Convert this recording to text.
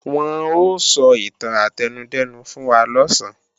Wọ́n ó sọ ìtàn átẹnudẹ́nu fún wa lọ̀sán